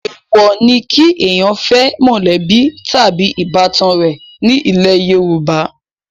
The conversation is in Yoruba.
èwò ni kí èèyàn fẹ́ mọ̀lẹ́bí tàbí ìbátan rẹ̀ ní ilẹ̀ yorùbá